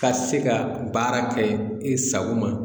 Ka se ka baara kɛ i sago ma